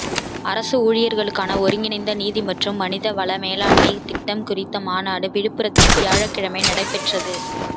அரசு ஊழியர்களுக்கான ஒருங்கிணைந்த நிதி மற்றும் மனித வள மேலாண்மைத் திட்டம் குறித்த மாநாடு விழுப்புரத்தில் வியாழக்கிழமை நடைபெற்றது